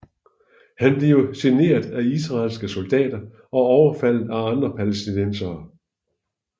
Han bliver generet af israelske soldater og overfaldet af andre palæstinensere